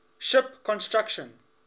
ship construction